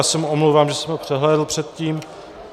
Já se mu omlouvám, že jsem ho přehlédl předtím.